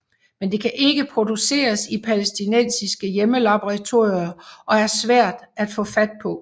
Men det kan ikke produceres i palæstinensiske hjemmelaboratorier og er svært at få fat på